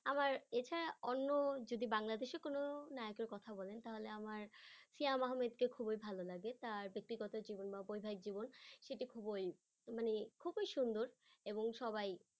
আমার এছাড়া অন্য যদি বাংলাদেশের কোন নায়কের কথা বলেন তাহলে তাহলে আমার শিওম আহমেদকে খুবই ভালো লাগে তার ব্যক্তিগত জীবন বা পারিবারিক জীবন সেটা খুবই মানে খুবই সুন্দর এবং সবাই